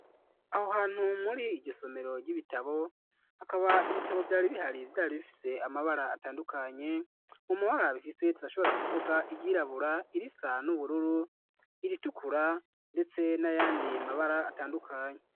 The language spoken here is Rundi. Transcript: Aho hantu muri iryo somero ry'ibitabo hakaba ibitabo vyari bihariy ivyari bifise amabara atandukanye mu mabara bifiseye turashobora kuvuga iryirabura irisan'ubururu iritukura, ndetse n'ayandi mabara atandukanye.